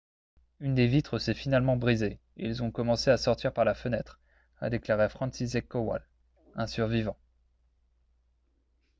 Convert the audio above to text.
« une des vitres s'est finalement brisée et ils ont commencé à sortir par la fenêtre » a déclaré franciszek kowal un survivant